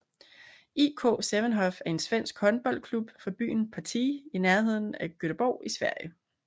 IK Sävehof er en svensk håndboldklub fra byen Partille i nærheden af Göteborg i Sverige